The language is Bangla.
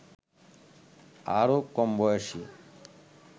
আরো কমবয়সী